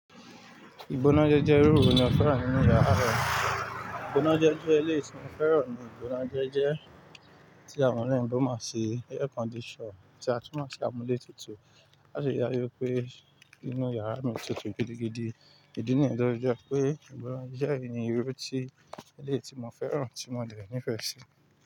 Ìbọnájẹ́ jẹ́ irú irun mi o fẹ́ràn nínú yàrá rẹ. Ìbọnájẹ́ jẹ́ ilé tí mo fẹ́ràn ni ìbọnájẹ́ jẹ́ tí àwọn ọ̀rẹ́ mi gbọ́ máa ṣe air conditioner tí a tún máa ṣe amúlétutù. A sì gbàgbọ́ pé inú yàrá mi tutù gidigidi. Ìdí nìyẹn tó jẹ́ pé ìbọnájẹ́ ni irú tí ilé tí mo fẹ́ràn tí mo nìyẹn nífẹ̀ẹ́ sí.